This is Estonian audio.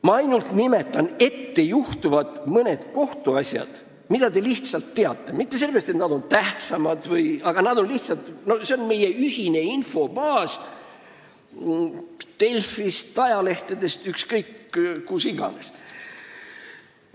Ma nimetan mõnda ettejuhtuvat kohtuasja, mida te teate – mitte et need oleks teistest tähtsamad vms, aga meil on nende koha pealt lihtsalt ühine infobaas Delfi, ajalehtede, mille iganes põhjal.